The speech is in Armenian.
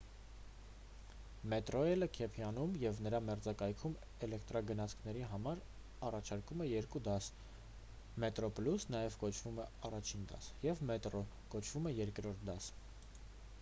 մետրոռեյլը քեյփթաունում ու նրա մերձակայքում էլեկտրագնացքների համար առաջարկում է երկու դաս՝ մետրոպլյուս նաև կոչվում է առաջին դաս և մետրո կոչվում է երրորդ դաս։